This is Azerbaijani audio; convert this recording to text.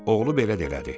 Oğlu belə də elədi.